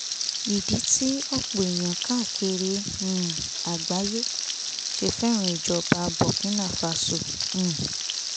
ìdí tí ọ̀pọ̀ èèyàn káàkiri um àgbáyé ṣe fẹ́ràn ìjọba burkina faso um